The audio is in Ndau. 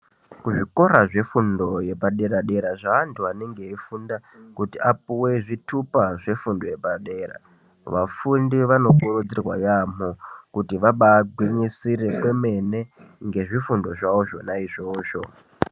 Kuzvikora zvefundo yepadera-dera zveantu anenge eifunda kuti apuwe zvithupa zvefundo yepadera, vafundi vanokurudzirwa yaamho kuti vabaagwinyisire kwemene ngezvifundo zwawo zvona izvozvo